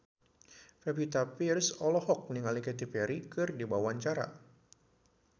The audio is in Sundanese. Pevita Pearce olohok ningali Katy Perry keur diwawancara